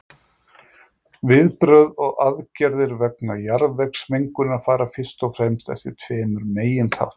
viðbrögð og aðgerðir vegna jarðvegsmengunar fara fyrst og fremst eftir tveimur meginþáttum